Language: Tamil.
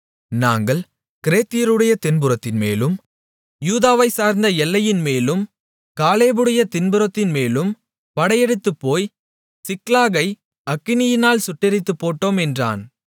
நாங்கள் கிரேத்தியருடைய தென்புறத்தின்மேலும் யூதாவைச்சார்ந்த எல்லையின்மேலும் காலேபுடைய தென்புறத்தின்மேலும் படையெடுத்துப்போய் சிக்லாகை அக்கினியினால் சுட்டெரித்துப் போட்டோம் என்றான்